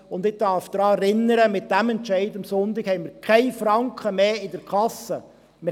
Ich darf daran erinnern, dass wir mit dem Entscheid von Sonntag keinen Franken mehr in der Kasse haben.